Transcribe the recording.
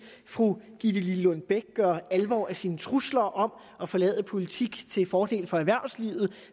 fru gitte lillelund bech gør alvor af sine trusler om at forlade politik til fordel for erhvervslivet